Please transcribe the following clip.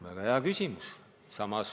Väga hea küsimus!